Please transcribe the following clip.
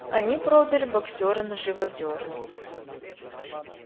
они продали боксёра на живодёрню